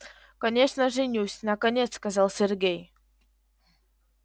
конечно женюсь наконец сказал сергей